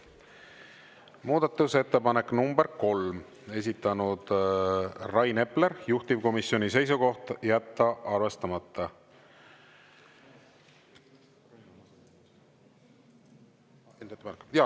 Muudatusettepanek nr 3, esitanud Rain Epler, juhtivkomisjoni seisukoht: jätta arvestamata.